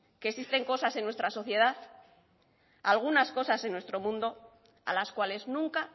que existen cosas en nuestra sociedad algunas cosas en nuestro mundo a las cuales nunca